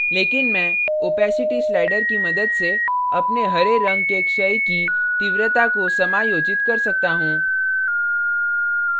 लेकिन मैं opacity slider की मदद से अपने हरे रंग के क्षय की तीव्रता को समायोजित कर सकता हूँ